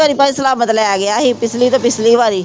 ਪਿੱਛਲੀ ਤੋਂ ਪਿੱਛਲੀ ਵਾਰੀ